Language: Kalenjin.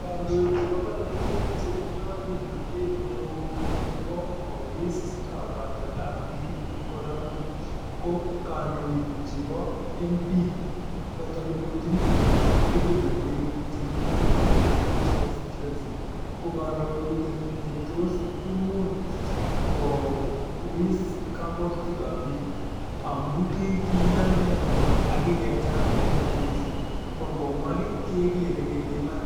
Kandoik chepo polotet che tindai kimnatet neoo nepo kowiss kapwatet ap piik eng' ole amenye ko kadoik ap MP chotok indochin kepeperwek che kikure Nandi Hills Constituency, ko kepeperwek che imuch kowiss kapwatutik ap piik i amu kikiyan inendet ak kikecham inedet missing'. Ko ngomwa kii kekere kele iman.